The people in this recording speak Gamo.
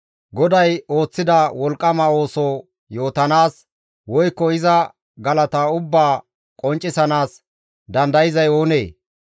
GODAY ooththida wolqqama ooso yootanaas, woykko iza galata ubbaa qonccisanaas dandayzay oonee?